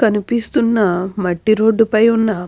కనిపిస్తూ ఉన్న మట్టి రోడ్డు పై ఉన్న --